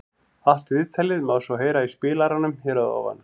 Allt viðtalið má svo heyra í spilaranum hér að ofan.